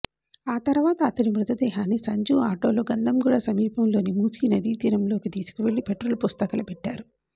ఆ తర్వాత అతడి మృతదేహాన్ని సంజు ఆటోలో గంధంగూడ సమీపంలోని మూసీ నది తీరంలోకి తీసుకెళ్లి పెట్రోల్ పోసి తగులబెట్టారు